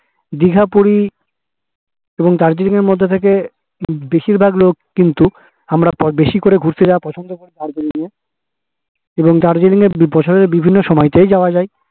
দিঘা পুরি এবং দার্জিলিঙের মধ্যে থেকে বেশির ভাগ লোক কিন্তু আমরা বেশি করে ঘুরতে যাওয়া পছন্দ করি দার্জিলিং এবং দার্জিলিং এ বিভিন্ন সময়তেই যাওয়া যাই